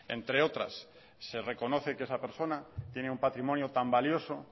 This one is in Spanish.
entre otras se reconoce que esa persona tiene un patrimonio tal valioso